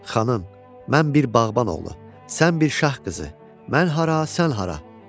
Xanım, mən bir bağban oğlu, sən bir şah qızı, mən hara, sən hara?